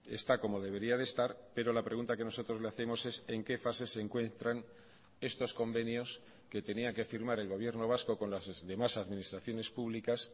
está como debería de estar pero la pregunta que nosotros le hacemos es en qué fase se encuentran estos convenios que tenía que firmar el gobierno vasco con las demás administraciones públicas